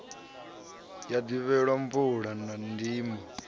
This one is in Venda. ya ḓivhelwa mvula na ndimo